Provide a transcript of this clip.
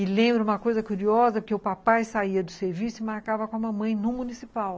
E lembro uma coisa curiosa, porque o papai saía do serviço e marcava com a mamãe num municipal.